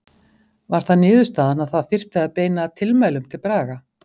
Var það niðurstaðan að það þyrfti að beina tilmælum til Braga?